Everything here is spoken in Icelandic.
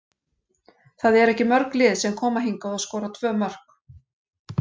Það eru ekki mörg lið sem koma hingað og skora tvö mörk.